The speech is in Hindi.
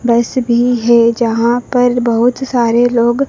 बस भीं हैं जहाँ पर बहुत सारे लोग--